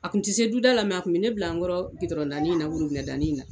A kun ti se duda la a kun bɛ ne bila an kɔrɔ na na.